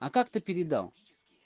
а как ты передал